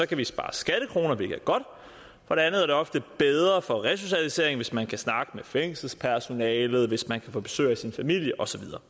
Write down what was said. kan vi spare skattekroner hvilket er godt for andet er det ofte bedre for resocialiseringen hvis man kan snakke med fængselspersonalet hvis man kan få besøg af sin familie og så videre